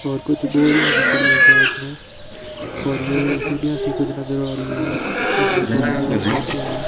और कुछ बोरियां भी पड़ी हैं पास में और यह भी सीढ़ियां सी कुछ नजर आ रही हैं इसमें थोड़ी बाहर जाते हुए।